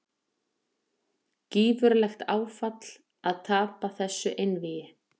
Gífurlegt áfall að tapa þessu einvígi